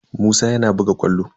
Musa yana buga ƙwallo.